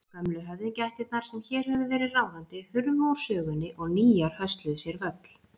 Gömlu höfðingjaættirnar sem hér höfðu verið ráðandi hurfu úr sögunni og nýjar hösluðu sér völl.